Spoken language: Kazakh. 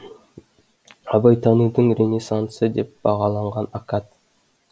абайтанудың ренессансы деп бағалаған акад